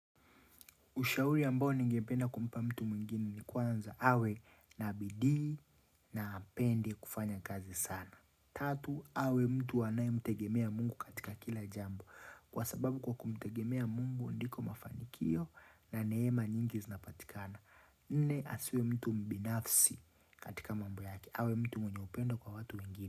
Ushauri ambao ningependa kumpa mtu mwingine ni kwanza awe na bidii na apende kufanya kazi sana. Tatu, awe mtu anaye mtegemea Mungu katika kila jambo. Kwa sababu kwa kumtegemea mungu ndiko mafanikio na neema nyingi zinapatikana. Nne, asiwe mtu mbinafsi katika mambo yake. Awe mtu mwenye upendo kwa watu wengine.